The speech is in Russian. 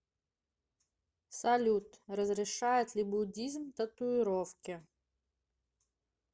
салют разрешает ли буддизм татуировки